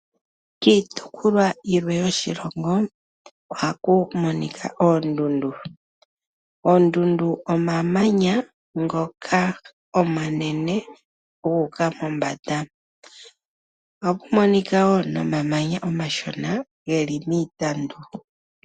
Kiitopolwa yilwe yoshilongo ohaku monika oondundu. Oondundu omamanya ngoka omanene guuka mombanda. Ohaku monika wo nomamanya omashona ge li miitandu.